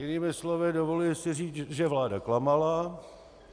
Jinými slovy, dovoluji si říci, že vláda klamala.